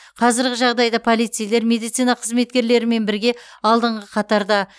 қазіргі жағдайда полицейлер медицина қызметкерлерімен бірге алдыңғы қатарда